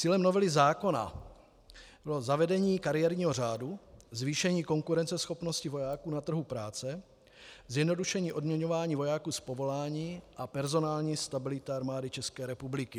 Cílem novely zákona bylo zavedení kariérního řádu, zvýšení konkurenceschopnosti vojáků na trhu práce, zjednodušení odměňování vojáků z povolání a personální stabilita Armády České republiky.